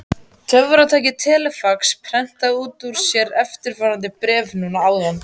Töfratækið telefax prentaði út úr sér eftirfarandi bréf núna áðan.